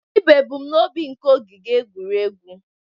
Gịnị bụ ebumnobi nke ogige egwuregwu?